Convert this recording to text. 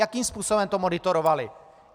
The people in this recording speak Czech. Jakým způsobem to monitorovaly?